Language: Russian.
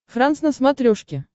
франс на смотрешке